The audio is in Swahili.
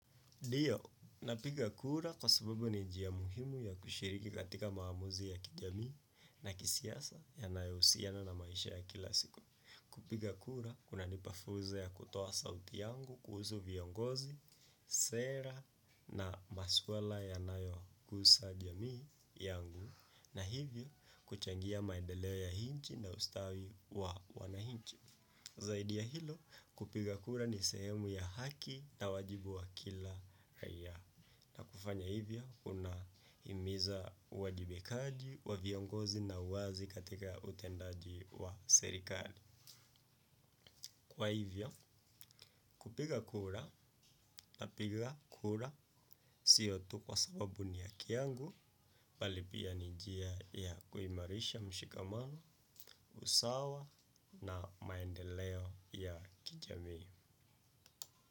Ndio, napiga kura kwa sababu ni jia muhimu ya kushiriki katika maamuzi ya kijamii na kisiasa yanayo usiana na maisha ya kila siku. Kupiga kura, kuna nipafuza ya kutoa sauti yangu kuhusu viongozi, sera na maswala ya nayokusa jamii yangu na hivyo kuchangia maedeleo ya hinchi na ustawi wa wanahinchi. Zaidi ya hilo kupiga kura ni sehemu ya haki na wajibu wa kila raia na kufanya hivyo unahimiza wajibakaji wa viongozi na wazi katika utendaji wa serikali. Kwa hivyo kupiga kura na piga kura siotu kwa sababu ni ya kiangu palipia ni jia ya kuimarisha mshikamano, usawa na maendeleo ya kijami.